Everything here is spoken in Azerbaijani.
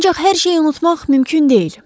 Ancaq hər şeyi unutmaq mümkün deyil.